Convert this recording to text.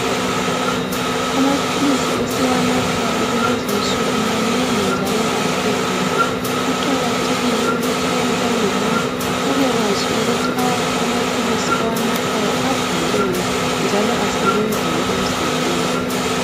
Amaphilisi esiwanathayo kulezi insuku manengi njalo ahlukene, kuqakatheke ukuthi uma ungumuntu ubekwazi ukuthi awakho amaphilisi owanathayo abhalweni njalo asebenzani emzimbeni wakho.